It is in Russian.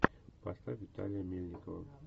поставь виталия мельникова